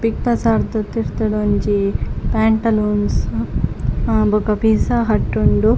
Big Bazaar ದ ತಿರ್ತುಡು ಒಂಜಿ ಪೇಂಟಲೂನ್ಸ್ ಆ ಬೊಕ ಪಿಝಾ ಹಟ್ ಉಂಡು.